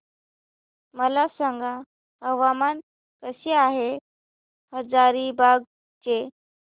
मला सांगा हवामान कसे आहे हजारीबाग चे